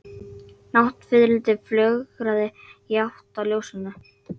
Náttfiðrildi flögraði í átt að ljósinu.